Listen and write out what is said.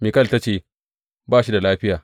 Mikal ta ce, Ba shi da lafiya.